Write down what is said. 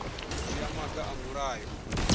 u dzhia maga a mulayo